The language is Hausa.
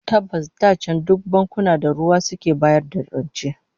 Tabbas da can duk bankuna da ruwa suke bayar da rance